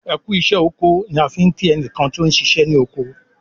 "ẹkú iṣẹ oko" ni a fí nki ẹnikan ti ọ ṣiṣẹ ni oko